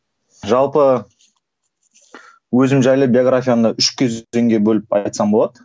жалпы өзім жайлы биографиямды үш кезеңге бөліп айтсам болады